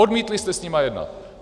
Odmítli jste s námi jednat.